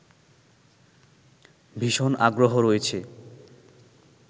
ভীষণ আগ্রহ রয়েছে